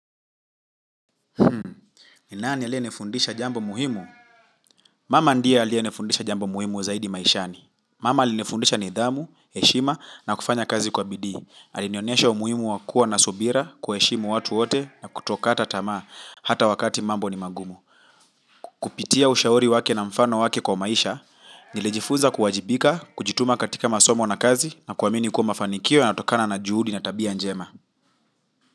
Ni nani aliye nifundisha jambo muhimu? Mama ndie aliye nifundisha jambo muhimu zaidi maishani. Mama alinifundisha nidhamu, heshima na kufanya kazi kwa bidii. Alinionesha umuhimu wa kuwa na subira kuwaheshimu watu wote na kuto kata tamaa hata wakati mambo ni magumu. Kupitia ushauri wake na mfano wake kwa maisha, nilijifunza kuwajibika, kujituma katika masomo na kazi na kuamini kuwa mafanikio yanatokana na juhudi na tabia njema.